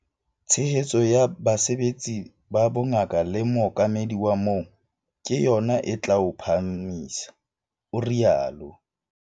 "Tshehetso ya basebetsi ba bongaka le mookamedi wa moo - ke yona e tla o phahamisa," o rialo.